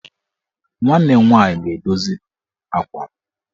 Nwanne m nwaanyị ga-edoziri m akwa m.